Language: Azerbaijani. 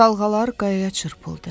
Dalğalar qayaya çırpıldı.